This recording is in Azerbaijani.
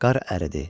Qar əridi.